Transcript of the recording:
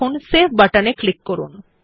এখন সেভ বাটনে ক্লিক করুন